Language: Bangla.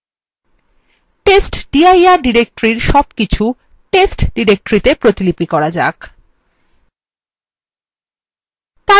আসুন testdir directory সবকিছু test directory তে প্রতিলিপি করা যাক